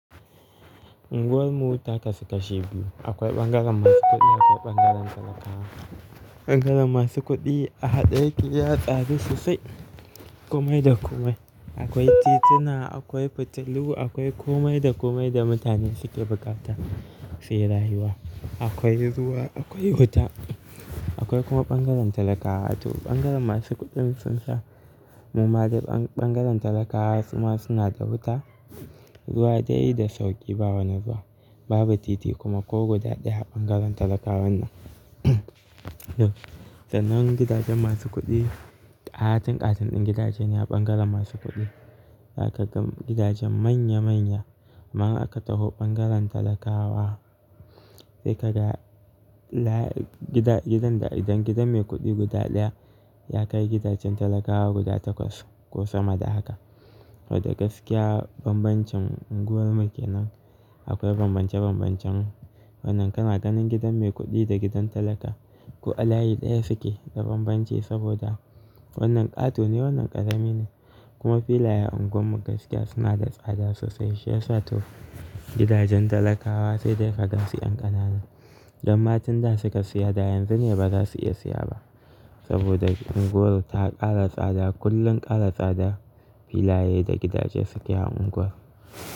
Unguwar mu ta kasu kashi biyu. Akwai ɓangaren masu kuɗi yake ɓangaren talakawa. Ɓangaren masu kuɗi a haɗe yake ya tsaru sosai. Komai da komai. Akwai tituna, akwai fitilu, akwai kumai da kumai da mutane suke buƙata suyi rayu wa. Akwai ruwa, akwai wuta, akwai kuma ɓangaren talakawa. To ɓangaren masu kuɗin sun sha. Muma da ɓangaren talakawa suma suna da wuta, ruwa dai da sauƙi, ba wani ruwa. Babu titi kuma ko guda ɗaya a ɓangaren talakawan nan. To, sannan gidajen masu kuɗi, ƙatin ƙatin ɗin gidajen a ɓangaren masu kuɗi. Zaka ga gidajen manya manya. Amman aka taho ɓangaren talakawa sai ka ga layin gida, gidan da idan gidan mai kuɗi guda ɗaya ya kai gidajen talakawa guda takwas ko sama da haka. Sabada gaskiya bambancin unguwar mu kenan. Akwai bambance bambancen wannan kana ganin gidan mai kuɗi da gidan talaka. Ko a layi ɗaya suke da bambanci saboda wannan ƙato ne wannan ƙarami ne. Kuma filaye a unguwar mu gaskiya suna da tsada sosai. Shiya sato gidajen talakawa sai dai fa gaskiyan ƙanana. Damma tin da suka siya da yanzu ne ba za su iya siya ba saboda unguwar ta ƙara tsada. Kullum ƙara tsada filaye da gidaje suke a unguwar.